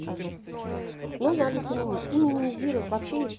скажу ну надо заменить и минимизировать вообще